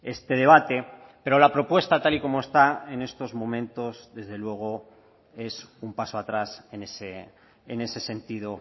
este debate pero la propuesta tal y como está en estos momentos desde luego es un paso atrás en ese sentido